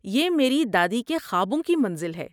یہ میری دادی کے خوابوں کی منزل ہے۔